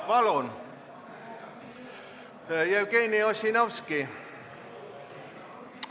Palun, Jevgeni Ossinovski!